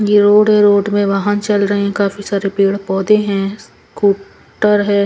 ये रोड है रोड में वाहन चल रहे हैं काफी सारे पेड़ पौधे हैं स्कू टर है.